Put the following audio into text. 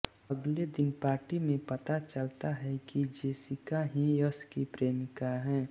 अगले दिन पार्टी में पता चलता है कि जेसिका ही यश की प्रेमिका है